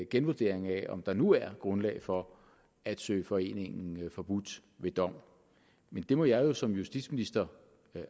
genvurdering af om der nu er grundlag for at søge foreningen forbudt ved dom men det må jeg som justitsminister